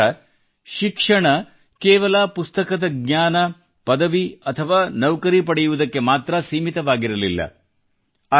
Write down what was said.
ಅವರ ಪ್ರಕಾರ ಶಿಕ್ಷಣ ಕೇವಲ ಪುಸ್ತಕದ ಜ್ಞಾನ ಪದವಿ ಅಥವಾ ನೌಕರಿ ಪಡೆಯುವುದು ಮಾತ್ರ ಸೀಮಿತವಾಗಿರಲಿಲ್ಲ